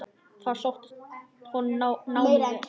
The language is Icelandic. Þar sóttist honum námið vel.